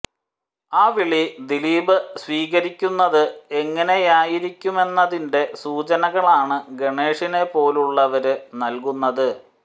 ആ വിളി ദിലീപ് സ്വീകരിക്കുന്നത് എങ്ങനെയായിരിക്കുമെന്നതിന്റെ സൂചനകളാണ് ഗണേഷിനെ പോലുള്ളവര് നല്കുന്നത്